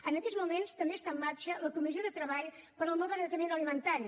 en aquests moments també està en marxa la comissió de treball per al nomalbaratament alimentari